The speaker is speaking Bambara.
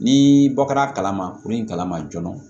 Ni bɔ kɛra a kalama kurun in kalama joona